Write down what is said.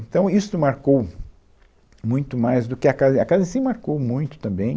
Então, isto marcou muito mais do que a casa, a casa sim marcou muito também.